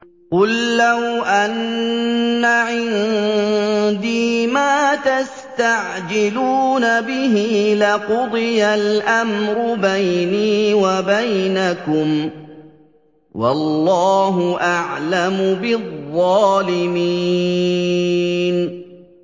قُل لَّوْ أَنَّ عِندِي مَا تَسْتَعْجِلُونَ بِهِ لَقُضِيَ الْأَمْرُ بَيْنِي وَبَيْنَكُمْ ۗ وَاللَّهُ أَعْلَمُ بِالظَّالِمِينَ